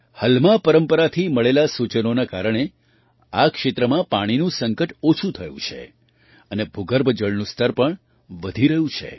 હલમા પરંપરાથી મળેલાં સૂચનોના કારણે આ ક્ષેત્રમાં પાણીનું સંકટ ઓછું થયું છે અને ભૂગર્ભ જળનું સ્તર પણ વધી રહ્યું છે